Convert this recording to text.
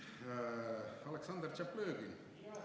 Nii.